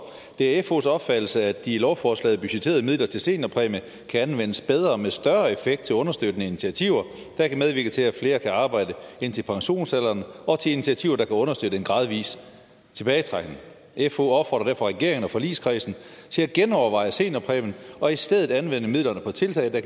det er fh’s opfattelse at de i lovforslagets budgetterede midler til seniorpræmie kan anvendes bedre og med større effekt til understøttende initiativer der kan medvirke til at flere kan arbejde indtil pensionsalderen og til initiativer der kan understøtte en gradvis tilbagetrækning fh opfordrer derfor regeringen og forligskredsen til at genoverveje seniorpræmien og i stedet anvende midlerne på tiltag der